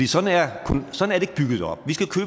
sådan er